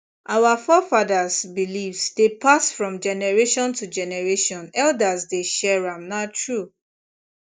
our forefathers beliefs dey pass from generation to generation elders dey share am na true